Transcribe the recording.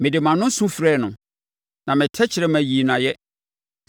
Mede mʼano su frɛɛ no; na me tɛkrɛma yii no ayɛ.